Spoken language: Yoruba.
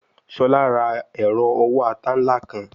Shola ra ero owo ata nla kan